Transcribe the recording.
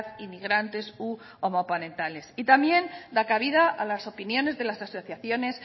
inmigrantes u homoparentales y también da cabida a las opiniones de las asociaciones